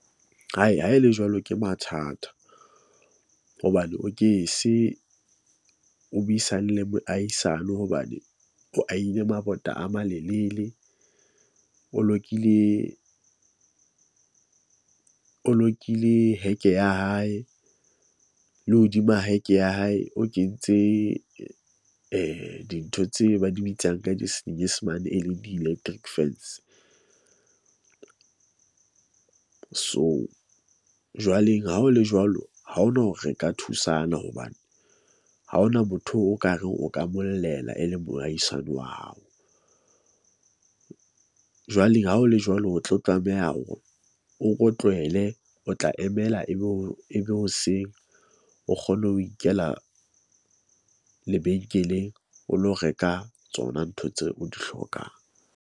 Hai ha e le jwalo ke mathata. Hobane o ke se o buisane le moahisano hobane o a ile mabota a malelele. O lokile o lokile heke ya hae le hodima ya heke ya hae, o kentse dintho tse ba di bitsang ka di senyesemane, e leng di-electric fence . So, jwale ha ho le jwalo, ha hona hore re ka thusana hobane ha hona motho o kare o ka mmollela, e leng moahisane wa hao . Jwale ha o le jwalo, o tlo tlameha hore o ko tlohele o tla emela ebe o e be hoseng, o kgone ho ikela lebenkeleng o lo reka tsona ntho tseo o di hlokang.